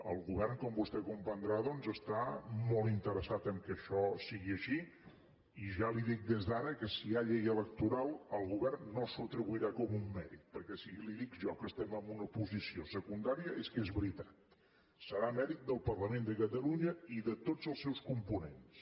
el govern com vostè deu comprendre doncs està molt interessat que això sigui així i ja li dic des d’ara que si hi ha llei electoral el govern no s’ho atribuirà com un mèrit perquè si li dic jo que estem en una posició secundària és que és veritat serà mèrit del parlament de catalunya i de tots els seus components